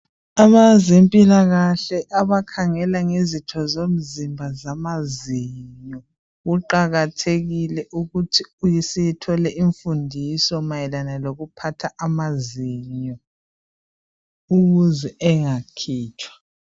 Abazempilakahle abakhangela ngezitho zomzimba zamazinyo kuqakathekile ukuthi sithole imfundiso mayelana ngokuphatha amazinyo ukuze engakhutshwa.